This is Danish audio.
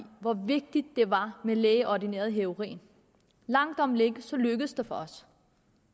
hvor vigtigt det var med lægeordineret heroin langt om længe lykkedes det for os